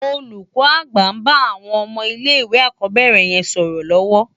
Olúkò ágbà n bá áwòn òmò ilé iwé álákòbèrè yèn sòrò lòwò